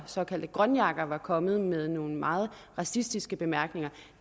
såkaldte grønjakker var kommet med nogle meget racistiske bemærkninger